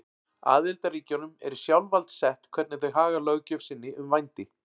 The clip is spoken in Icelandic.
Aðildarríkjunum er í sjálfsvald sett hvernig þau haga löggjöf sinni um vændi.